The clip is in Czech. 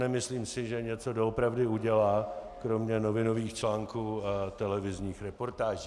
Nemyslím si, že něco doopravdy udělá kromě novinových článků a televizních reportáží.